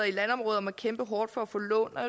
i landområder må kæmpe hårdt for at få lån og